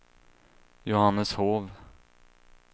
Johanneshov